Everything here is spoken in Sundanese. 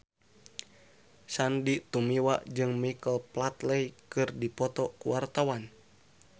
Sandy Tumiwa jeung Michael Flatley keur dipoto ku wartawan